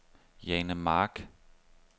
Jane Mark